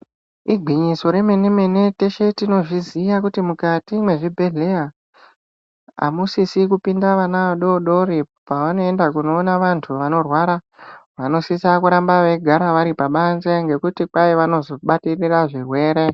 Igwinyiso remenemene teshe tinozviziya kuti mukati mwezvibhehleya amusisi kupinda vana adodori pavanoenda kunoona vantu vanorwara vanosisa kuramba veigara varipabanzi ngekuti kwai vanozobatikira zvirwere.